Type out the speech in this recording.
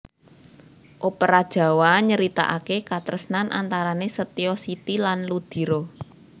Opera Jawa nyeritakaké katresnan antarané Setyo Siti lan Ludiro